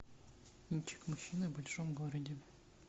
кинчик мужчина в большом городе